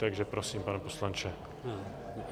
Takže prosím, pane poslanče.